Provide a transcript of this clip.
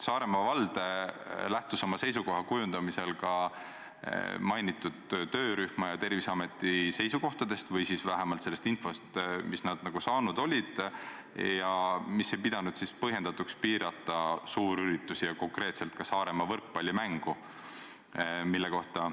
" Saaremaa vald lähtus oma seisukoha kujundamisel ka mainitud töörühma ja Terviseameti seisukohtadest või vähemalt sellest infost, mis nad saanud olid ja mille kohaselt ei peetud põhjendatuks piirata suurüritusi ja konkreetselt ka Saaremaa võrkpallimängu, mille kohta ministeeriumilt küsiti ja mille kohta Terviseamet vastuse andis.